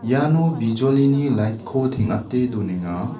iano bijolini lait ko teng·ate donenga.